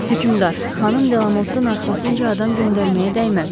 Hökümdar, xanım De Lamotun arxasınca adam göndərməyə dəyməz.